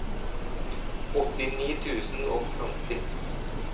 åttini tusen og femti